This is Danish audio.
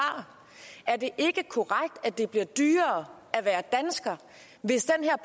er det ikke korrekt at det bliver dyrere at være dansker hvis den her